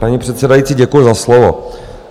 Paní předsedající, děkuji za slovo.